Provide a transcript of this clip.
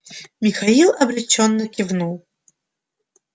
михаил обречённо кивнул